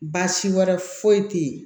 Baasi wɛrɛ foyi tɛ ye